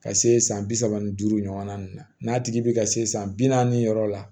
Ka se san bi saba ni duuru ɲɔgɔnna ninnu na n'a tigi bɛ ka se san bi naani yɔrɔ la